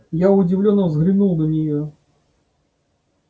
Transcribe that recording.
я удивлённо взглянул на нее